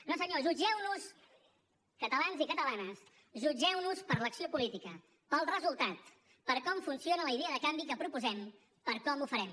no senyor jutgeu nos catalans i catalanes jutgeu nos per l’acció política pel resultat per com funciona la idea de canvi que proposem per com ho farem